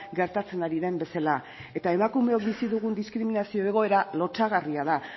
gertatzen ari den bezala eta emakumeok bizi dugun diskriminazio egoera lotsagarria da